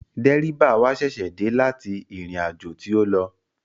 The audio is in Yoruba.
Dẹ́ríbà wa ṣẹ̀ṣẹ̀ dé láti ìrìnàjò tí ó lọ